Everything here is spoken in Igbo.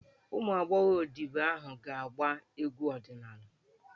Ụmụ agbọghọ odibo ahụ hà ga-agba egwu ọdịnala?